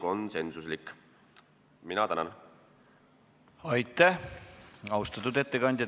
Aitäh, austatud ettekandja!